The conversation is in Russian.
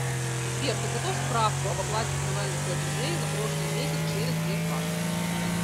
сбер подготовь справку об оплате коммунальных платежей за прошлый месяц через сбербанк